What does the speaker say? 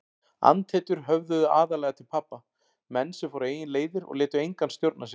Andhetjur höfðuðu aðallega til pabba, menn sem fóru eigin leiðir og létu engan stjórna sér.